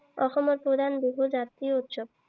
অসমৰ প্ৰধান বিহু জাতীয় উৎসৱ।